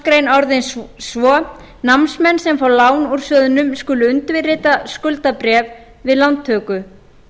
og fimmtu málsgrein orðist svo námsmenn sem fá lán úr sjóðnum skulu undirrita skuldabréf við lántöku